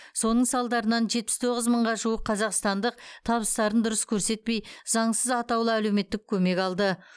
соның салдарынан жетпіс тоғыз мыңға жуық қазақстандық табыстарын дұрыс көрсетпей заңсыз атаулы әлеуметтік көмек алды